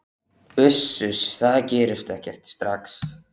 Uss, uss, það gerist ekkert strax.